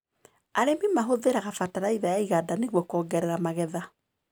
Arĩmi mahũthĩraga bataraitha ya iganda nĩguo kuongerera magetha.